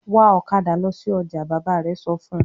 "Wa ọ̀kadà lọ sí ọjà!" Bàbá rẹ̀ sọ fún un.